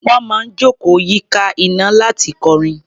Wọ́n máa ń jókòó yíká iná láti kọrin.